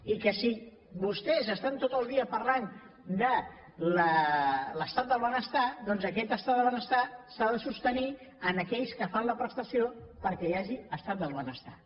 i que si vostès estan tot el dia parlant de l’estat del benestar doncs aquest estat del benestar s’ha de sostenir en aquells que fan la prestació perquè hi hagi estat del benestar